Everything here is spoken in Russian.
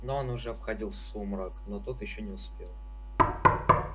но он уже входил в сумрак но тот ещё не успел